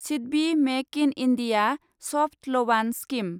SIDBI make in India सफ्त लवान scheme